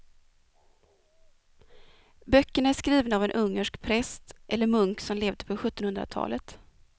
Böckerna är skrivna av en ungersk präst eller munk som levde på sjuttonhundratalet.